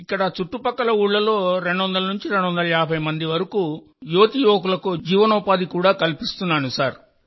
ఇక్కడి రెండు నుండి నాలుగు ఊళ్ళలో రెండొందల నుండి రెండున్నర వందల మంది యువతీ యువకులకు జీవనోపాధి కూడా కల్పించవచ్చు సార్